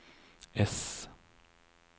S